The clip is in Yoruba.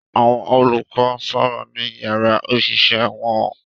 Àwọn olùkọ́ ń sọ̀rọ̀ ní yàrá òṣìṣẹ́ wọn